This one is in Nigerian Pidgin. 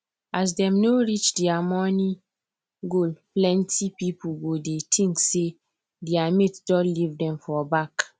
as dem no reach dia money goalplenty pipu go dey think say dia mate don leave dem for back